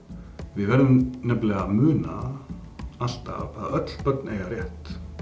við verðum nefnilega að muna alltaf að öll börn eiga rétt